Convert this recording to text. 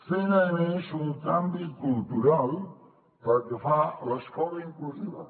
fent a més un canvi cultural pel que fa a l’escola inclusiva